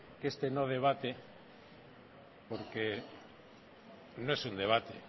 que este no debate porque no es un debate